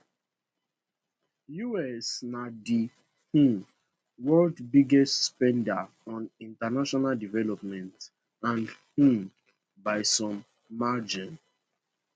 us na di um world biggest spender on international development and um by some margin